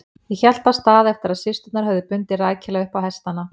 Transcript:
Ég hélt af stað eftir að systurnar höfðu bundið rækilega upp á hestana.